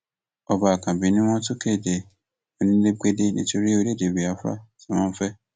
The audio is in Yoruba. ọba àkànbí ni wọn tún kéde onílégbélé nítorí orílẹèdè biafra tí wọn ń fẹ